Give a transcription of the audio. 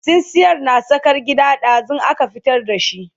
tsintsiyar na tsakar gida, ɗazun aka fitar da shi